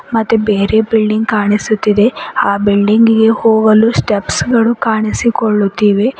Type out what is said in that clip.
ಮತ್ತೆ ಬೇರೆ ಬಿಲ್ಡಿಂಗ್ ಕಾಣಿಸುತ್ತಿದೆ ಆ ಬಿಲ್ಡಿಂಗ್ ಗೆ ಹೋಗಲು ಸ್ಟೆಪ್ಸ್ ಗಳು ಕಾಣಿಸಿಕೊಳ್ಳುತ್ತಿವೆ.